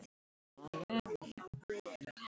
hrópaði Jón Ármann.